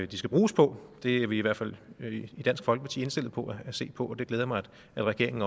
de skal bruges på det er i vi i hvert fald i dansk folkeparti indstillet på at se på og det glæder mig at regeringen